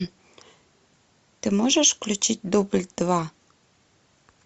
ты можешь включить дубль два